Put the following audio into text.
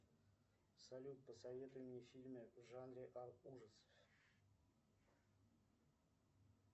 салют посоветуй мне фильмы в жанре ужасов